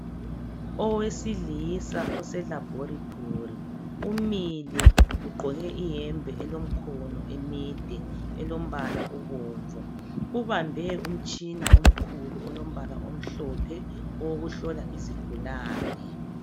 Owesilisa ose laboratory umile ugqoke iyembe elemikhono emide elombala obomvu, ubambe umtshina omkhulu olombala omhlophe owokuhlola izigulane.